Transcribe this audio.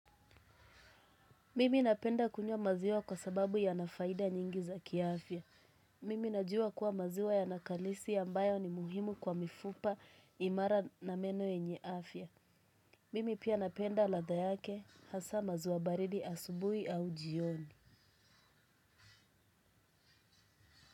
Mimi napenda kunywa maziwa kwa sababu yana faida nyingi za kiafya. Mimi najua kuwa maziwa yana kalisi ambayo ni muhimu kwa mifupa imara na meno yenye afya. Mimi pia napenda ladha yake hasa maziwa baridi asubuhi au jioni.